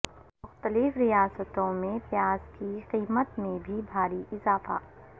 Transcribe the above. مختلف ریاستوں میں پیاز کی قیمت میں بھاری اضافہ